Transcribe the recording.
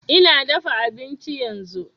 Ina dafa abinci yanzu